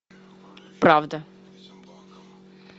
правда